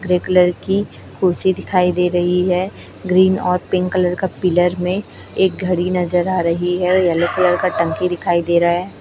Grey colour की कुर्सी दिखाई दे रही है ग्रीन और पिंक कलर का पिलर में एक घड़ी नजर आ रही है येलो कलर का टंकी दिखाई दे रहा है।